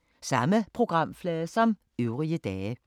Samme programflade som øvrige dage